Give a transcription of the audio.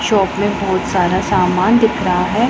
Shop में बहुत सारा सामान दिख रहा है।